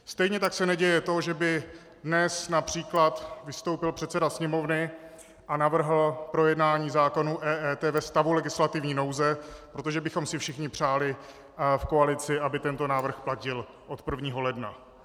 Stejně tak se neděje to, že by dnes například vystoupil předseda Sněmovny a navrhl projednání zákonů EET ve stavu legislativní nouze, protože bychom si všichni přáli v koalici, aby tento návrh platil od 1. ledna.